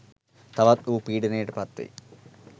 තවත් ඌ පීඩනයට පත්වෙයි